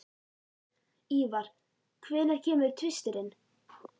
Ívar, hvenær kemur tvisturinn?